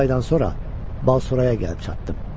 Doqquz aydan sonra Balsoraya gəlib çatdım.